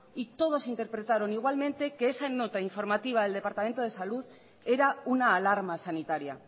y todas interpretaron igualmente que esa nota informativa del departamento de salud era una alarma sanitaria